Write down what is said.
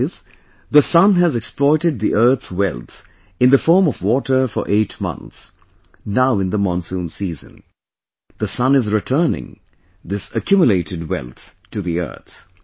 That is, the Sun has exploited the earth's wealth in the form of water for eight months, now in the monsoon season, the Sun is returning this accumulated wealth to the earth